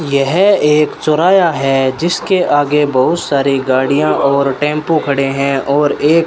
यह एक चौराया है जिसके आगे बहुत सारी गाड़ियां और टेंपो खड़े हैं और एक --